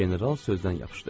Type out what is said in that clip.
General sözdən yapışdı.